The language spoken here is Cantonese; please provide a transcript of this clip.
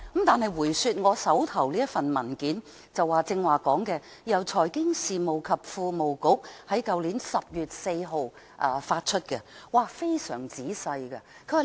返回我手上的文件，這是財經事務及庫務局去年10月4日發出的，寫得非常仔細。